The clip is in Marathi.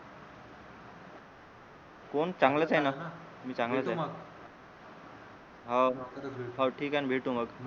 कोण चांगलाच आहे ना मी चांगलाच आहे हो हो ठीक आहे भेटु मग मग आता